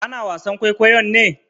Ana wasan kwaikwayon ne?